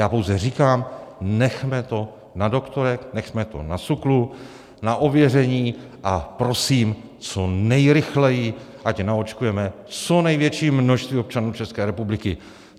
Já pouze říkám: Nechme to na doktorech, nechme to na SÚKLu, na ověření, a prosím co nejrychleji, ať naočkujeme co největší množství občanů České republiky.